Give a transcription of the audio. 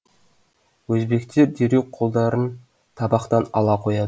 өзбектер дереу қолдарын табақтан ала қояды